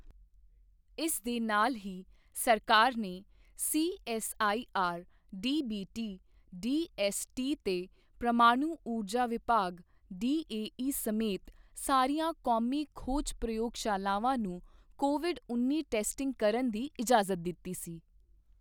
ਇਸ ਦੇ ਨਾਲ ਹੀ ਸਰਕਾਰ ਨੇ ਸੀਐੱਸਆਈਆਰ ਡੀਬੀਟੀ, ਡੀਐੱਸਟੀ ਤੇ ਪ੍ਰਮਾਣੂ ਊਰਜਾ ਵਿਭਾਗ ਡੀਏਈ ਸਮੇਤ ਸਾਰੀਆਂ ਕੌਮੀ ਖੋਜ ਪ੍ਰਯੋਗਸ਼ਾਲਾਵਾਂ ਨੂੰ ਕੋਵਿਡ ਉੱਨੀ ਟੈਸਟਿੰਗ ਕਰਨ ਦੀ ਇਜਾਜ਼ਤ ਦਿੱਤੀ ਸੀ।